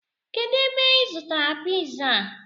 Kedu ebe I zụtara piza a?